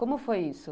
Como foi isso?